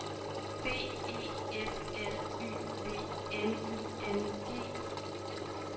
B E F L Y V N I N G